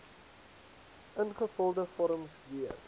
ingevulde vorms weer